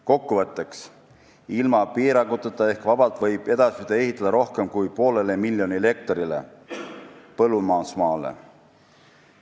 Kokkuvõtteks: ilma piiranguteta ehk vabalt võib edasi ehitada rohkem kui poolele miljonile hektarile põllumajandusmaale.